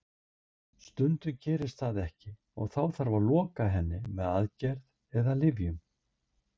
Stundum gerist það ekki og þá þarf að loka henni með aðgerð eða lyfjum.